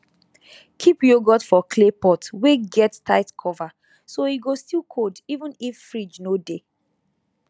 keep yoghurt for clay pot wey get tight cover so e go still cold even if fridge no dey